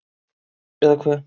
Eða hve